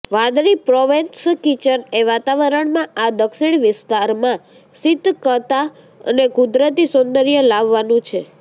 વાદળી Provence kitchen એ વાતાવરણમાં આ દક્ષિણ વિસ્તારમાં શીતકતા અને કુદરતી સૌંદર્ય લાવવાનું છે